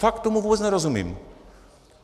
Fakt tomu vůbec nerozumím.